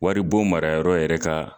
Wari bon marayɔrɔ yɛrɛ ka